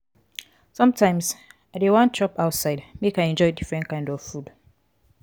sometimes i dey wan chop outside make i enjoy different kind food.